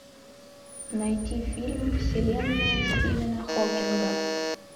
найди фильм вселенная стивена хокинга